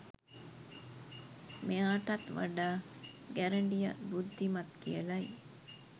මෙයාටත් වඩා ගැරඬිය බුද්ධිමත් කියලයි.